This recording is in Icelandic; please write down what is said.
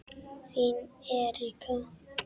Þín Erika.